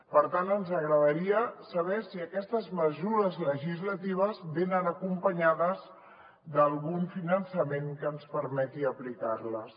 per tant ens agradaria saber si aquestes mesures legislatives venen acompanyades d’algun finançament que ens permeti aplicar les